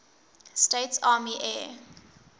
states army air